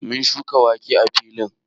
Mun shuka wake a filin